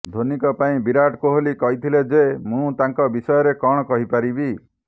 ଧୋନିଙ୍କ ପାଇଁ ବିରାଟ କୋହଲି କହିଥିଲେ ଯେ ମୁଁ ତାଙ୍କ ବଷୟରେ କଣ କହିପାରିବି